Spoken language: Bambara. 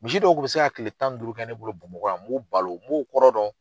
Misi dɔw Kun be se ka kile tan ni duuru kɛ ne bolo Bamakɔ n b'u balo n b'o kɔrɔ dɔn